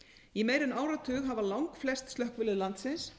í meira en áratug hafa langflest slökkvilið landsins